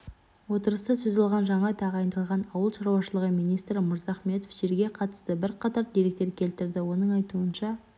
отырыста сөз алған жаңа тағайындалған ауыл шаруашылығы министрі мырзахметов жерге қатысты бірқатар деректер келтірді оның айтуынша